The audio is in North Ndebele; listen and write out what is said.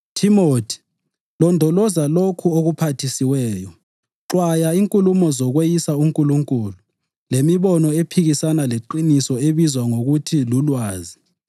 Thimothi, londoloza lokho okuphathisiweyo. Xwaya inkulumo zokweyisa uNkulunkulu, lemibono ephikisana leqiniso ebizwa ngokuthi lulwazi,